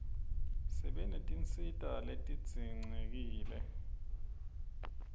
sibe netinsita letidzinqekile